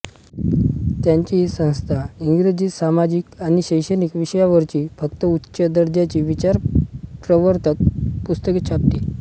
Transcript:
त्यांची ही संस्था इंग्रजीत सामाजिक आणि शैक्षणिक विषयांवरची फक्त उच्च दर्जाची विचारप्रवर्तक पुस्तके छापते